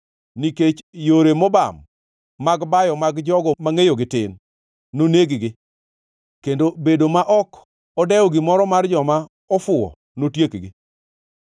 Nikech yore mobam mag bayo mag jogo mangʼeyogi tin noneg-gi, kendo bedo ma ok odewo gimoro mar joma ofuwo notiekgi.